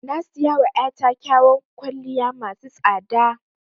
Na siyawa ya ta kyawan kwalliya masu tsada